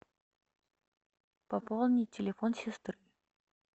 пополни телефон сестры